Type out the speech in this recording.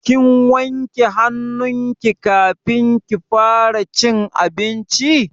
Kin wanke hannu ki kafin kika fara cin abinci?